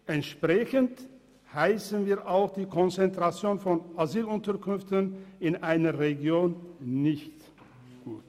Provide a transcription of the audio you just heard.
Entsprechend heissen wir auch die Konzentration von Asylunterkünften in einer Region nicht gut.